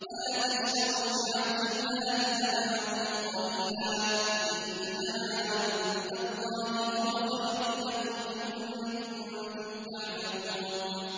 وَلَا تَشْتَرُوا بِعَهْدِ اللَّهِ ثَمَنًا قَلِيلًا ۚ إِنَّمَا عِندَ اللَّهِ هُوَ خَيْرٌ لَّكُمْ إِن كُنتُمْ تَعْلَمُونَ